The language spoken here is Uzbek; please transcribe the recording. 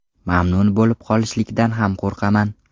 Mamnun bo‘lib qolishlikdan ham qo‘rqaman.